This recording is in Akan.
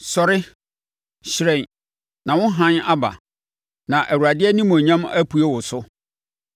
“Sɔre, hyerɛn, na wo hann aba, na Awurade animuonyam apue wo so.